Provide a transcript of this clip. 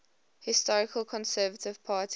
historical conservative party